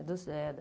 Do Zé.